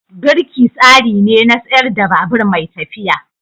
Birki tsari ne na tsayar da babur mai tafiya.